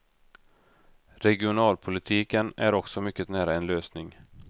Regionalpolitiken är också mycket nära en lösning.